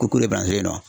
Ko kolo bangelenna